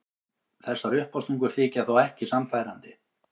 Þessar uppástungur þykja þó ekki sannfærandi.